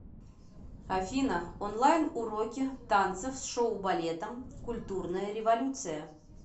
афина онлайн уроки танцев с шоу балетом культурная революция